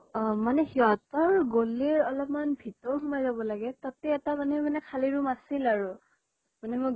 মানে সিহঁতৰ গলি অলপ্মান ভিতৰ সোমাই যাব লাগে, তাতে এটা মানে মানে খালি room আছিল আৰু, মানে